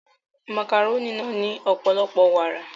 Màkàrónì náà ní ọ̀pọ̀lọpọ̀ wàrà